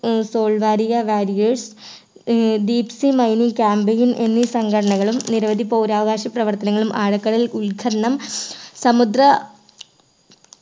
ഏർ സോൾവാരിയ warriers ഏർ deep sea mining camping ഉം എന്നീ സംഘടനകളും നിരവധി പൗരാവകാശ പ്രവർത്തനങ്ങളും ആഴക്കടൽ ഉൾ ഖനനം സമുദ്ര